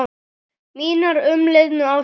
Mínar umliðnu ástir